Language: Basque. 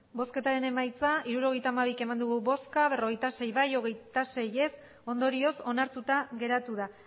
emandako botoak hirurogeita hamabi bai berrogeita sei ez hogeita sei ondorioz onartuta geratu da